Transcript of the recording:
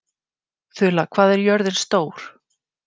Þula, hvað er jörðin stór?